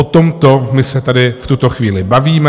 O tomto my se tady v tuto chvíli bavíme.